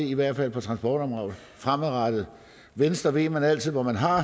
i hvert fald på transportområdet fremadrettet venstre ved man altid hvor man har